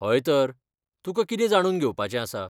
हयतर, तुका कितें जाणून घेवपाचें आसा?